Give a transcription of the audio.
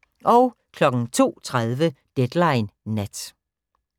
02:30: Deadline Nat